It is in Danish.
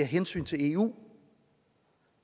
hensyn til eu